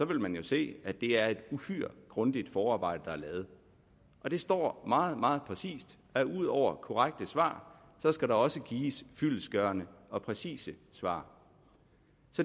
vil man jo se at det er et uhyre grundigt forarbejde der er lavet det står meget meget præcist at ud over korrekte svar skal der også gives fyldestgørende og præcise svar